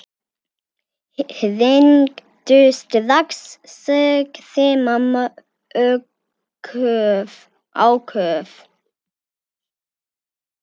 Hringdu strax, sagði mamma áköf.